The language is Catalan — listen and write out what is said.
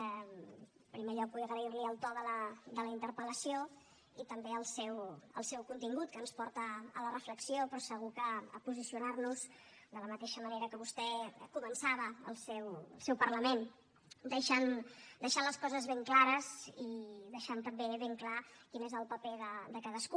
en primer lloc vull agrair li el to de la interpel·lació i també el seu contingut que ens porta a la reflexió però segur que a posicionar nos de la mateixa manera que vostè començava el seu parlament deixant les coses ben clares i deixant també ben clar quin és el paper de cadascú